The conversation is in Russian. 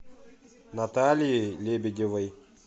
натальей лебедевой